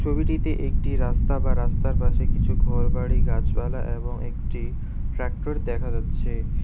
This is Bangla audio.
ছবিটিতে একটি রাস্তা বা রাস্তার পাশে কিছু ঘরবাড়ি গাছপালা এবং একটি ট্রাক্টর দেখা যাচ্ছে।